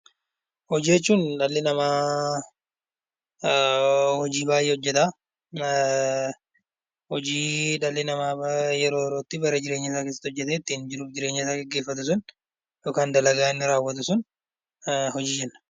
Hojii jechuun dhalli namaa hojii baay'ee hojjeta, hojii dhalli namaa yeroo yerootti, bara jireenyasaa keessatti hojjetee ittiin jiruuf jireenya isaa gaggeeffatu sun yookaan dalagaa inni raawwatu sun hojii jenna.